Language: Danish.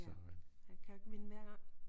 Ja han kan jo ikke vinde hver gang